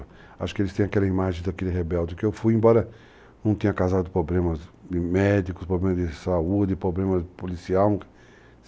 Acho que eles têm aquela imagem daquele rebelde que eu fui, embora não tenha causado problemas médicos, problemas de saúde, problemas policiais.